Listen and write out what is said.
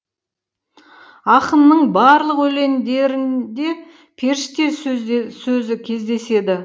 ақынның барлық өлеңдерінде періште сөзде сөзі кездеседі